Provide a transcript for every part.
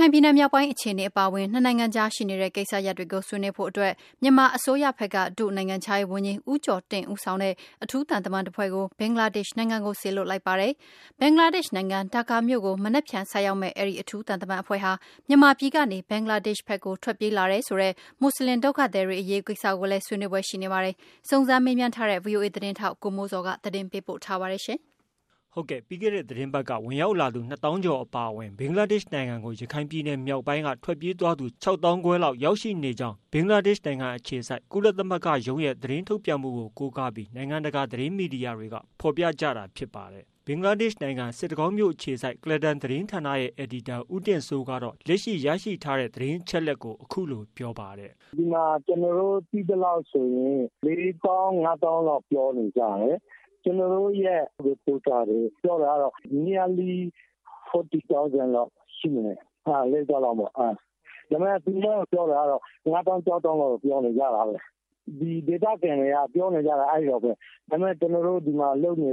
ခိုင်ပြည်နယ်မြောက်ပိုင်းအခြေအနေအပါအဝင် နှစ်နိုင်ငံအကြားရှိနေတဲ့ ကိစ္စရပ်တွေကို ဆွေးနွေးဖို့အတွက် မြန်မာအစိုးရဘက်က ဒု-နိုင်ငံခြားရေးဝန်ကြီး ဦးကျော်တင့် ဦးဆောင်တဲ့ အထူးသံတမန်အဖွဲ့ကို ဘင်္ဂလားဒေ့ရ်ှနိုင်ငံကို စေလွှတ် လိုက်ပါတယ်။ ဘင်္ဂလားဒေ့ရ်ှနိုင်ငံ ဒါက္ကာမြို့ကို မနက်ဖြန် ဆိုက်ရောက်မယ့် အဲဒီ အထူးသံတမန်အဖွဲ့ဟာ မြန်မာပြည်ကနေ ဘင်္ဂလားဒေ့်ရ်ှဖက်ကို ထွက်ပြေး လာတယ်ဆိုတဲ့ မွတ်ဆလင် ဒုက္ခသည်တွေ အရေးကိစ္စကို လည်း ဆွေးနွေးဖွယ် ရှိနေပါတယ်။ စုံစမ်းမေးမြန်းထားတဲ့ ဗွီအိုအေ သတင်းထောက် ကိုမိုးဇော် သတင်းပေးပို့ထားပါတယ်။ ပြီးခဲ့တဲ့သတင်းပတ်က ဝင်ရောက်လာသူ၂သောင်းကျော်အပါအဝင် ဘင်္ဂလားဒေ့ရှ်နိုင်ငံကို ရခိုင်ပြည်နယ်မြောက်ပိုင်းက ထွက်ပြေးသွားသူ ၆သောင်းခွဲကျော်လောက်ရောက် ရှိနေပြီး ဘင်္ဂလားဒေ့ရှ်အခြေစိုက် ကုလသမဂ္ဂရုံးရဲ့ သတင်းထုတ်ပြန်မှုကိုကိုးကားပြီး နိုင်ငံတကာသတင်းမီဒီယာတွေကဖော်ပြကြတာဖြစ်ပါတယ်။ ဘင်္ဂလားဒေ့ရှ်နိုင်ငံစစ်တကောင်းမြို့ အခြေစိုက် ကုလားတန် သတင်းဌာနရဲ့ အယ်ဒီတာဦးတင်စိုးကတော့ လက်ရှိ ရရှိထားတဲ့ သတင်းအချက်အလက် ကိုအခုလိုပြောပါတယ်။ “ဒီမှာကျနော်တို့ သိသလောက်ဆိုရင် ၄ သောင်း ၅ သောင်းလောက်ပြောနေကြတယ်။ ကျနော်တို့ reporter တွေပြောတာကတော့ Nearly 40 thousands လောက်ရှိမယ်၊ ၄သောင်းလောက်ပေါ့။ ဒါပေမယ့် ပြောနေတာကတော့ ၅ သောင်း၊ ၆ သောင်းလောက်ပြောနေကြတာပဲ။ ဒေသခံတွေပြောနေတာကတော့ အဲဒီလောက်ပဲ၊ ဒါပေမယ့် ဒီမှာကျနော်တို့ အလုပ်လုပ်နေ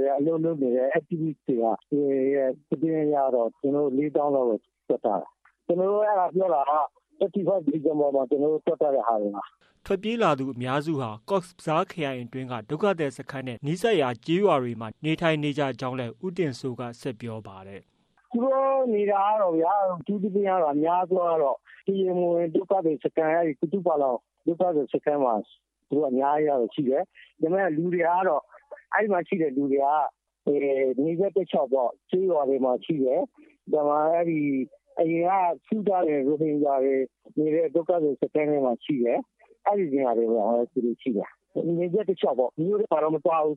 တဲ့ activists တွေရဲ့သတင်းအရတော့ ကျနော်တို့ ၄သောင်းလောင်တော့ တွက်ထားတယ်။ ကျနော်တို့တွက်ထားတာက ရတဲ့သတင်းအချက်အလက်ပေါ်မှာ ကျနော်တို့ တွက်ထားတာပါ။” ထွက်ပြေးလာသူအများစုဟာ Cox’s Bazaar ခရိုင်အတွင်းက ဒုက္ခသည်စခန်းနဲ့ နီးစပ်ရာ ကျေးရွာတွေမှာ နေထိုင်နေကြကြောင်းလည်းဦးတင်စိုးကဆက်ပြောပါတယ်။ “သူတို့နေတာကတော့ အထူးသဖြင့် အများစုကတော့ တရားမဝင် ဒုက္ခသည်စခန်း မှာတွေ အများကြီးရှိတယ်။ ဒါပေမယ့် အဲဒီမှာရှိတဲ့လူတွေကတော့ နယ်စပ်တလျှောက်ကျေးရွာတွေမှာရှိတယ်။ အရင်က စုထားတဲ့ ရိုဟင်ဂျာ ဒုက္ခသည်စခန်းမှာရှိတယ်။ အဲဒီနေရာတွေမှာပဲ သူတို့ရှိတယ် နယ်စပ်တလျှောက်ပေါ့ မြို့မှာတော့မသွားဘူး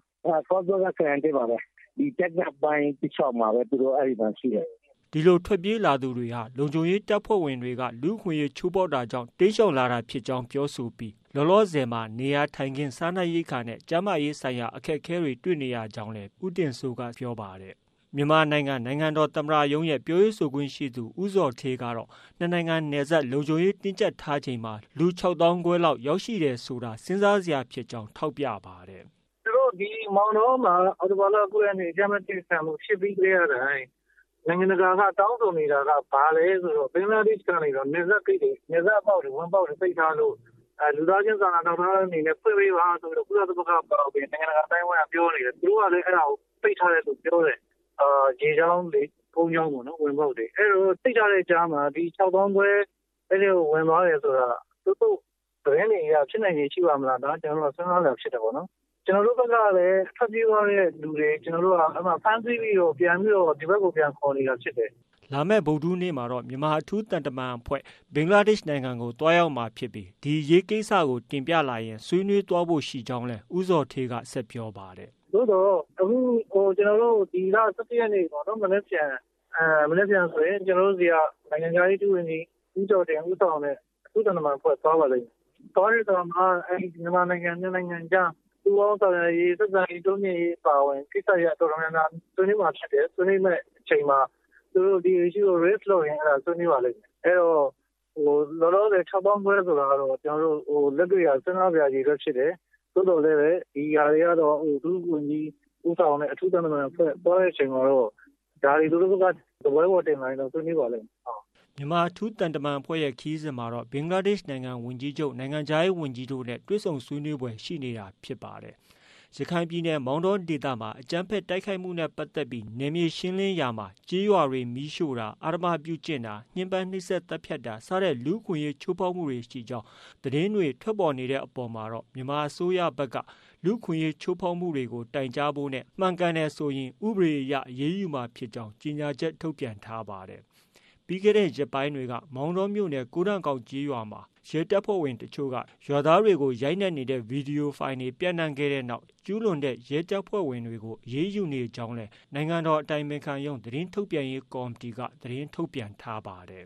Cox’s Bazaar ခရိုင်အတွင်းမှာပဲ။ဒီတလျှောက်မှာပဲ ရှိတယ်။” ဒီလို ထွက်ပြေးလာသူတွေဟာ လုံခြုံရေးတပ်ဖွဲဝင်တွေက လူ့အခွင့်အရေးကျူးလွန်တာတွေကြောင့် တိမ်းရှောင်လာတာလို့ ပြောဆိုပြီးလောလောဆည်မှာနေရာထိုင်ခင်း၊ စားနပ်ရိက္ခာနဲ့ ကျန်းမာရေးဆိုင်ရာအခက်အခဲတွေ တွေ့နေကြကြောင်းလည်းပြောပါတယ်။ မြန်မာနိုင်ငံ နိုင်ငံတော်သမ္မတရုံးရဲ့ ပြောခွင့်ရသူဦးဇော်ဌေးကတော့ နှစ်နိုင်ငံနယ်စပ်လုံခြုံရေး တင်းကျပ်ထားတဲ့အချိန်မှာလူ ၆သောင်းခွဲလောက်ရောက်ရှိတယ်ဆိုတာ စဉ်းစားစရာ ဖြစ်ကြောင်းထောက်ပြပါတယ်။ “သူတို့မောင်တောမှာ အောက်တိုဘာလ ၉ ရက်နေ့ အကြမ်းဖက်တိုက်ခိုက်မှုဖြစ်ပြီးတဲ့အချိန် နိုင်ငံတာကာက တောင်းဆိုနေတာ ဘာလဲဆိုတော့ ဘင်္ဂလားဒေ့ရှ်ကနေပြီးတော့ နယ်စပ်ဂိတ်တွေ ပိတ်ထားလို့ လူသားချင်းစာနာထောက်ထားတဲ့အနေနဲ့ ဖွင့်ပေးပါဆိုပြီးတော့ ကုလသမဂ္ဂအပါအဝင်၊ နိုင်ငံတကာ အသိုင်းအဝိုင်းကပြောနေတယ်၊ သူတို့ကလည်း ပိတ်ထားတယ်လို့ပြောတယ်။ ဒီနယ်စပ်ဝင်ပေါက်တော့ အဲဒီတော့ ပိတ်ထားတဲ့ အထဲမှာ ဒီ ၆ သောင်းခွဲက အထဲကို ဝင်သွားတယ်ဆိုတော့ ဒီသတင်းတွေအရ ဖြစ်နိုင်ခြေရှိပါ့မလားဆိုပြီးတော့ ဖြစ်တယ်ပေါ့နော်။ ကျနော်တို့ဘက်ကတော့ ထွက်ပြေးသွားတဲ့လူတွေ အဲဒီမှာဖမ်းဆီးပြီးတော့ ဒီဘက်မှာ ခေါ်နေတာဖြစ်တယ်။” လာမယ့် ဗုဒ္ဓဟူးနေ့မှာ မြန်မာအထူးသံတမန်အဖွဲ့ ဘင်္ဂလားဒေ့ရှ်နိုင်ငံကို သွားရောက်ချိန်မှာဒီအရေးကိုတင်ပြလာရင် ဆွေးနွေးသွားမှာဖြစ်ကြောင်း လည်းဦးဇော်ဌေးကဆက်ပြောပါတယ်။ “သို့သော် ဒီလ ၁၁ ရက်နေ့မှာ မနက်ဖြန်ဆိုရင် ကျနော်တို့ဆီက နိုင်ငံခြားရေး ဒုဝန်ကြီး ဦးကျော်တင့် ဦးဆောင်တဲ့ အဖွဲ့တဖွဲ့သွားပါလိမ့်မယ်။ သွားတဲ့အခါမှာ မြန်မာနိုင်ငံ၂ နိုင်ငံကြား ပူးပေါင်းဆောင်ရွက်ရေး၊ ဆက်ဆံရေး တိုးမြင့်ရေးအပါအဝင် ကိစ္စရပ်တော်တော်များများ ဆွေးနွေးမှာဖြစ်တယ်။ ဆွေးနွေးမယ့်အချက်တွေမှာ သူတို့ ဒီ Issue ကို Raise လုပ်ရင် ဆွေးနွေးပါလိမ့်မယ်။ လောလောဆယ် ၆ သောင်းခွဲဆိုတာကတော့ ကျနော်တို့ လက်တွေ့က စဉ်းစားစရာ အရေအတွက်ဖြစ်တယ်။ သို့သော် ဒီဟာတွေကတော့ ဒုဝန်ကြီးဦးဆောင်တဲ့ အထူးသံတမန်အဖွဲ့ သွားတဲ့အချိန်မှာတော့ ဒါတွေ သူတို့ ဘက်က စားပွဲပေါ်တင်လာရင်တော့ ဆွေးနွေးပါလိမ့်မယ်။” မြန်မာအထူးသံတမန်အဖွဲ့ရဲ့ ခရီးစဉ်မှာတော့ ဘင်္ဂလားဒေ့ရှ်နိုင်ငံ ဝန်ကြီးချုပ်၊ နိုင်ငံခြားရေးဝန်ကြီးတို့နဲ့ တွေ့ဆုံဆွေးနွေးဖွယ်ရှိနေတာဖြစ်ပါတယ်။ ရခိုင်ပြည်နယ် မောင်တောဒေသမှာအကြမ်းဖက် တိုက်ခိုက်မှုနဲ့ ပတ်သက်ပြီးနယ်မြေရှင်းလင်း ရာမှာကျေးရွာတွေ မီးရှိုတာ၊ အဓမ္မပြု့ကျင့်တာ၊ ညှင်းပန်းနှိစက်သတ်ဖြတ်တာ စတဲ့လူ့အခွင့်အရေး ချိုးဖောက်မှုတွေရှိကြောင်း သတင်းတွေ ထွက်ပေါ်နေတဲ့ အပေါ်မှာတော့ မြန်မာအစိုးရဖက်က လူ့အခွင့်အရေးချိုးဖောက်မှုတွေကိုတိုင်ကြားဖို့နဲ့ မှန်ကန်တယ်ကို ဥပဒေအရအရေးယူမှာဖြစ်ကြောင်းကြေညာချက် ထုတ်ပြန် ထားပါတယ်။ ပြီးခဲ့တဲ့ ရက်ပိုင်းတွေ ကမောင်တောမြို့နယ် ကိုးတန်ကောက်ကျေးရွာမှာရဲတပ်ဖွဲ့ဝင်တွေက ရွာသားတွေကို ရိုက်နှက်တဲ့ ဗီဒီယိုဖိုင်တွေ ပျံနှံခဲ့တဲ့နောက် ကျူးလွန်တဲ့ ရဲတပ်ဖွဲ့ဝင်တွေ ကို အရေးယူနေကြောင်းလည်း နိုင်ငံတော် အတိုင်ပင်ခံရုံး သတင်းထုတ်ပြန်ရေးကော်မတီကသတင်းထုတ်ပြန်ထားပါတယ်